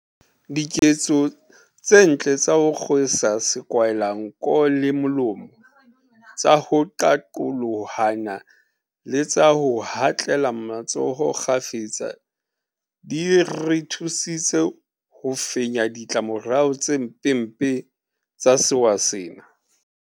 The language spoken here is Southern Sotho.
Diketso tse ntle tsa ho kgwe sa sekwahelanko le molomo, tsa ho qaqolohana le tsa ho hatlela matsoho kgafetsa di re thusitse ho fenya ditla morao tse mpempe tsa sewa sena.